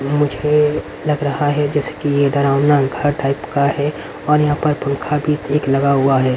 मुझे लग रहा है जैसे कि ये डरावना घर टाइप का है और यहां पर पंखा भी एक लगा हुआ है.